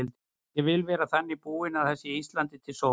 Ég vil vera þannig búin að það sé Íslandi til sóma.